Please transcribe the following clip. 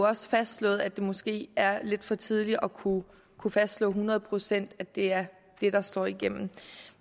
også fastslået at det måske er lidt for tidligt at kunne fastslå hundrede procent at det er det der slår igennem